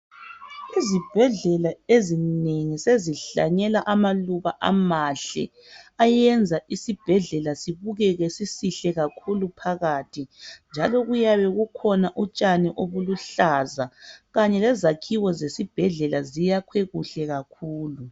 Izibhedlela ezinengi sezihlanyela amaluba amahle ayenza isibhedlela sibukeke sisihle kakhulu phakathi njalo kuyabe kukhona utshani obuluhlaza kanye lezakhiwe zesibhedlela zakhiwe kuhle kakhulu